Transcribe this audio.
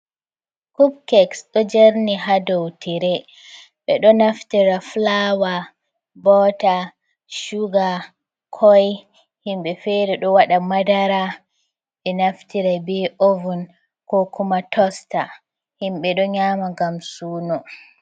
Kupkek ɗo jerni ha dow tire ɓe ɗo naftira fulaawa ,boota, cuga, koy. Himɓe feere ɗo waɗa madara, ɓe naftira be ovun ko kuma tosta himɓe ɗo nyaama ngam suuno.